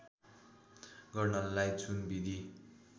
गर्नलाई जुन विधि